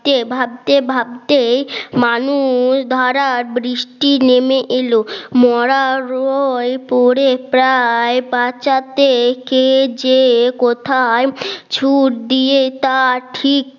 কে ভাবতে ভাবতে মানুষ ধারার বৃষ্টি নেমে এলো মরা হয়ে পড়ে প্রায় বাঁচাতে কে যে কোথায় ছুট দিয়ে তা ঠিক